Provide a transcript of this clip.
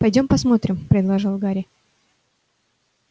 пойдём посмотрим предложил гарри